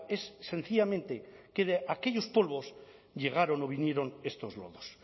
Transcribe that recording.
es sencillamente que de aquellos polvos llegaron o vinieron estos lodos